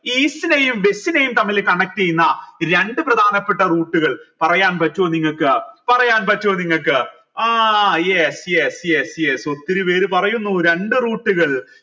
east നെയും west നെയും തമ്മിൽ connect ചെയ്യുന്ന രണ്ട് പ്രധാനപ്പെട്ട route കൾ പറയാൻ പറ്റുമോ നിങ്ങൾക്ക് പറയാൻ പറ്റുമോ നിങ്ങൾക്ക് ആ yes yes yes yes ഒത്തിരി പേര് പറയുന്നു രണ്ട് route കൾ